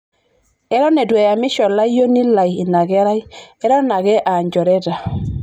eton itu eyamisho olayuni lai inakerai eton ake aanjoreta